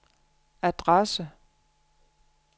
adresse